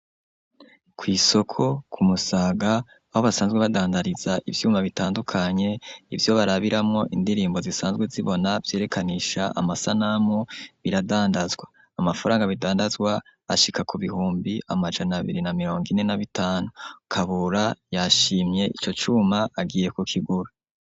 Kw'isoko ku Musaga aho basanzwe badandariza ivyuma bitandukanye, ivyo barabiramwo indirimbo zisanzwe zibona vyerekanisha amasanamu biradandazwa. Amafaranga bidandazwa ashika ku bihumbi amajana abiri na mirongo ine na bitanu. Kabura yashimye ico cuma agiye kukigura.